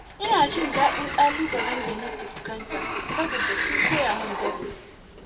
Ina jin dadi da ƙalubalen da na fuskanta saboda sun koya min darasi.